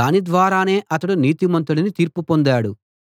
దాని ద్వారానే అతడు నీతిమంతుడని తీర్పు పొందాడు